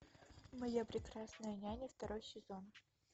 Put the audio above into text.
моя прекрасная няня второй сезон